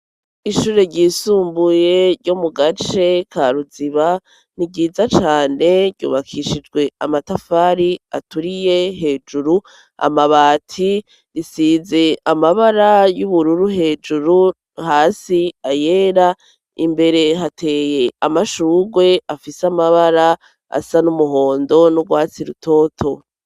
Ishure ryisumbuye ryo mu gace ka Ruziba ni ryiza cane, ryubakishijwe amatafari aturiye hejuru amabati, risize amabara y'ubururu hejuru hasi ayera imbere hateye amashurwe afise amabara asa n'umuhondo n'urwatsi rutoto.